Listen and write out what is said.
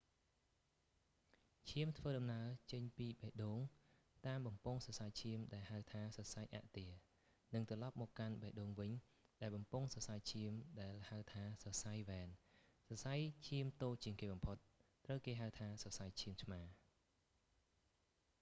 ឈាមធ្វើដំណើរចេញបេះដូងតាមបំពង់សរសៃឈាមដែលហៅថា សរសៃអាក់ទែរ និងត្រឡប់មកកាន់បេះដូងវិញដែលបំពង់សរសៃឈាមដែលហៅថាសរសៃវ៉ែន សរសៃឈាមតូចជាងគេបំផុត ត្រូវគេហៅថា សរសៃឈាមឆ្មារ